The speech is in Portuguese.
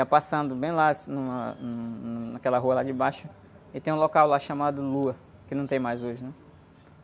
Ia passando bem lá, assim, numa, num, num, naquela rua lá de baixo, e tem um local lá chamado Lua, que não tem mais hoje, né?